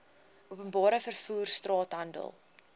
openbare vervoer straathandel